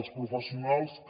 els professionals que